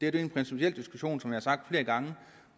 er en principiel diskussion som jeg har sagt flere gange